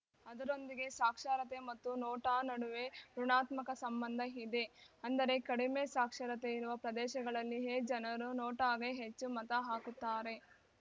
ಅದರೊಂದಿಗೆ ಸಾಕ್ಷರತೆ ಮತ್ತು ನೋಟಾ ನಡುವೆ ಋುಣಾತ್ಮಕ ಸಂಬಂಧ ಇದೆ ಅಂದರೆ ಕಡಿಮೆ ಸಾಕ್ಷರತೆ ಇರುವ ಪ್ರದೇಶಗಳಲ್ಲಿಯೇ ಜನರು ನೋಟಾಗೆ ಹೆಚ್ಚು ಮತಹಾಕುತ್ತಾರೆ